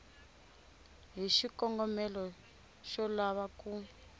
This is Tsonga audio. hi xikongomelo xo lava ku